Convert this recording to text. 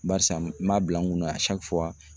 Barisa n m'a bila n kun na